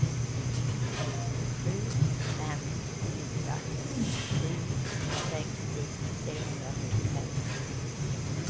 sju fem fyra sju sextio trehundranittiosex